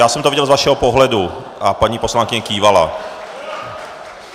Já jsem to viděl z vašeho pohledu a paní poslankyně kývala.